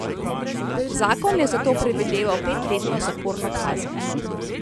Zakon je za to predvideval petletno zaporno kazen.